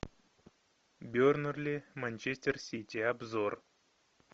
бернли манчестер сити обзор